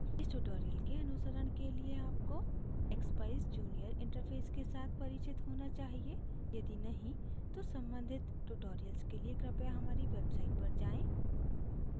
इस tutorial के अनुसरण के लिए आपको expeyes junior interface के साथ परिचित होना चाहिए यदि नहीं तो सम्बंधित tutorials के लिए कृपया हमारी website पर जाएँ